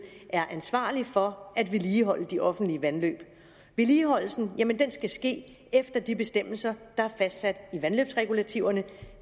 er ansvarlig for at vedligeholde de offentlige vandløb vedligeholdelsen skal ske efter de bestemmelser der er fastsat i vandløbsregulativerne